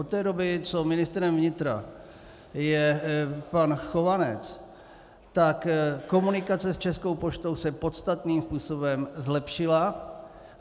Od té doby, co ministrem vnitra je pan Chovanec, tak komunikace s Českou poštou se podstatným způsobem zlepšila.